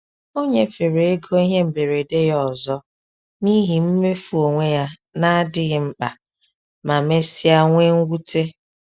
O nyefere ego ihe mberede ya ọzọ n’ihi mmefu onwe ya na-adịghị mkpa, ma mesịa nwee mwute.